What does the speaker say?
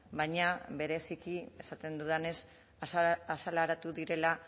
baina bereziki esaten dudanez azaleratu direla